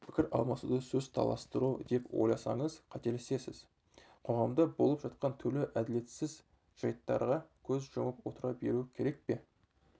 пікір алмасуды сөз таластыру деп ойласаңыз қателесесіз қоғамда болып жатқан түрлі әділетсіз жайттарға көз жұмып отыра беру керек пе